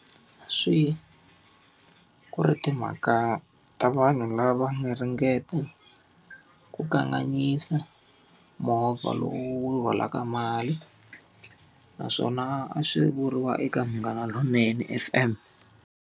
Swi ku ri timhaka ta vanhu lava nga ringeta ku kanganyisa movha lowu wu rhwalaka mali. Naswona a swi vuriwa eka Munghana Lonene F_M.